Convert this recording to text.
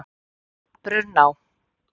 Brunná